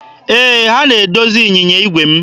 Ee, ha na-edozi ịnyịnya igwe m.